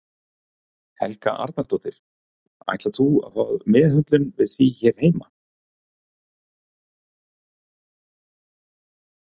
Helga Arnardóttir: Ætlar þú að fá meðhöndlun við því hér heima?